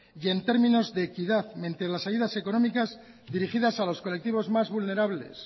y en términos de equidad las ayudas económicas dirigidas a los colectivos más vulnerables